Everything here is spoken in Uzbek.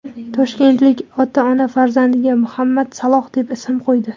Toshkentlik ota-ona farzandiga Muhammad Saloh deb ism qo‘ydi .